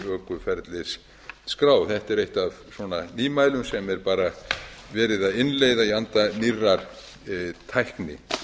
ökuferlis skrá þetta er eitt af nýmælum sem er bara verið að innleiða í anda nýrrar tækni